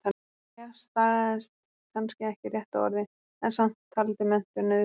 Jæja, stagaðist kannski ekki rétta orðið, en samt- taldi menntun nauðsynlega.